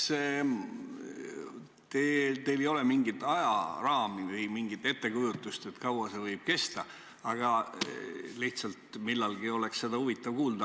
Esiteks, teil ei ole mingit ajaraami või mingit ettekujutust, kui kaua see võib kesta, lihtsalt millalgi oleks seda huvitav kuulda.